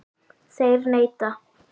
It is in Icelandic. Þeir neita.